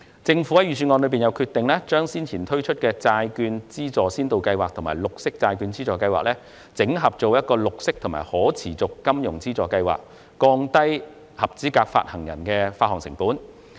政府在預算案中決定將先前推出的債券資助先導計劃和綠色債券資助計劃，整合為綠色和可持續金融資助計劃，從而降低合資格發行人的發行成本。